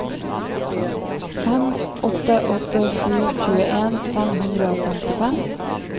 fem åtte åtte sju tjueen fem hundre og femtifem